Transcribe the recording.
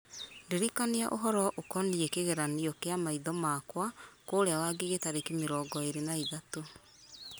ndirikania ũhoro ũkoniĩ kĩgeranio kĩa maitho makwa kũrĩa wangigĩ tarĩki mĩrongo ĩĩrĩ na ithatatũ